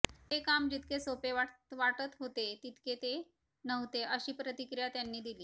हे काम जितके सोपे वाटत होते तितके ते नव्हते अशी प्रतिक्रिया त्यांनी दिली